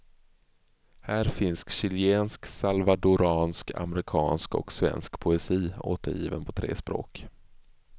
Här finns chilensk, salvadoransk, amerikansk och svensk poesi, återgiven på tre språk.